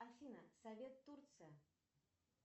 афина совет турция